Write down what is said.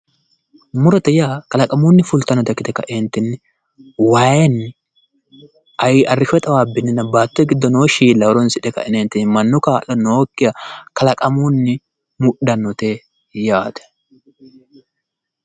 Murote yaa kalaqamunni fultannota ikkite ka'entinni wayeenni arrishshote xawaabbinninna baattote giddo noo shiilla horonsidhe ka'entinni mannu kaa'lo nookkiha kalaqamunni mudhannote yaate